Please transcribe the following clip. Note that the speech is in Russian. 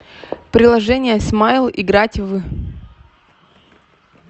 приложение смайл играть в